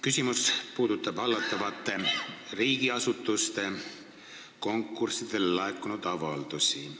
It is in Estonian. Küsimus puudutab riigiasutuste konkurssidele laekunud avaldusi.